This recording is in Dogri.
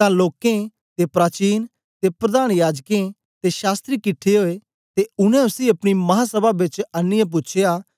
तां लोकें दे प्राचीन ते प्रधान याजकें ते शास्त्री किट्ठे ओए ते उनै उसी अपनी महासभा बेच आनीयै पूछ्या